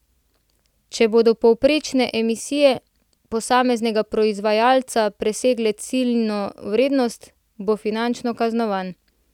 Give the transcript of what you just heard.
Če bodo povprečne emisije posameznega proizvajalca presegle ciljno vrednost, bo finančno kaznovan.